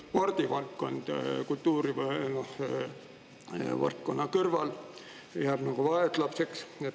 Spordivaldkond jääb kultuurivaldkonna kõrval vaeslapseks.